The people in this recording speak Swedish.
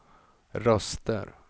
röster